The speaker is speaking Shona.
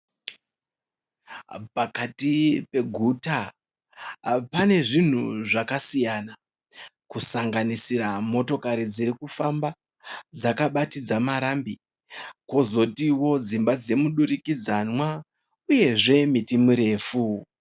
Pakati peguta. Pane zvinhu zvakasiyana kusanganisira motokari dziri kufamba dzakabatidza marambi kuzotiwo dzimba dzemudurikidzanwa uye zve miti mirefu